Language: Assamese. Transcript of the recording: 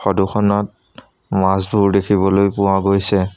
ফটো খনত মাছবোৰ দেখিবলৈ পোৱা গৈছে।